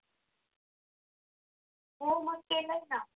हो मग. केलय ना.